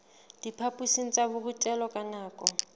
diphaphosing tsa borutelo ka nako